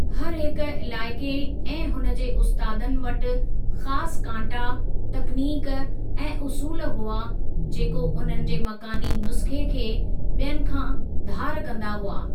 हर हिकु इलाइक़े ऐं हुन जे उस्तादनि वटि ख़ासु कांटा, तकनीक ऐं उसूलु हुआ जेको उन्हनि जे मकानी नुस्खे़ खे बि॒यनि खां धारु कंदा हुआ।